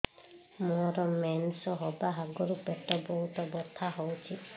ମୋର ମେନ୍ସେସ ହବା ଆଗରୁ ପେଟ ବହୁତ ବଥା ହଉଚି